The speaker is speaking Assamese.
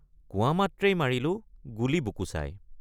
কোৱা মাত্ৰেই মাৰিলোঁ গুলী বুকু চাই।